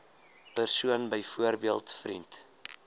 persoon byvoorbeeld vriend